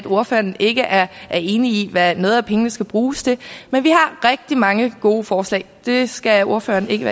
ordføreren ikke er enig i hvad nogle af pengene skal bruges til men vi har rigtig mange gode forslag det skal ordføreren ikke